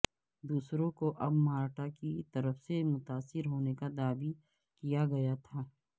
دوسروں کو اب مارٹا کی طرف سے متاثر ہونے کا دعوی کیا گیا تھا